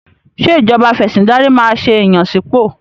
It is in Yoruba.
Ṣé ìjọba afẹ̀sìndarí máa ṣe ìyànsípò?